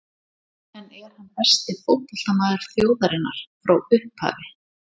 En er hann besti fótboltamaður þjóðarinnar frá upphafi?